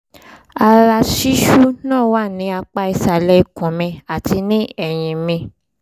ara ṣíṣú náà wà ní apá ìsàlẹ̀ ikùn mi àti ní ẹ̀yìn mi